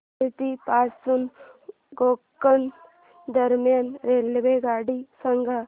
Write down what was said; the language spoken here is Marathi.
उडुपी पासून गोकर्ण दरम्यान रेल्वेगाडी सांगा